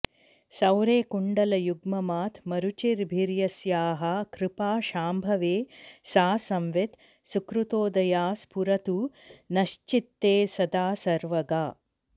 सौरे कुण्डलयुग्ममात्मरुचिभिर्यस्याः कृपा शांभवे सा संवित् सुकृतोदया स्फुरतु नश्चित्ते सदा सर्वगा